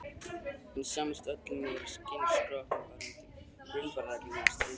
En sammerkt með öllum var að vera skyni skroppnir varðandi grundvallarreglur í stríðsrekstri.